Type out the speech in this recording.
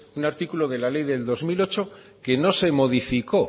un artículo de la ley de dos mil ocho que no se modificó